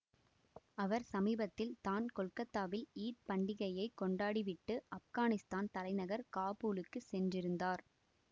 அவர் சமீபத்தில் தான் கொல்கத்தாவில் ஈத் பண்டிகையை கொண்டாடி விட்டு ஆப்கானிஸ்தான் தலைநகர் காபூலுக்கு சென்றிருந்தார்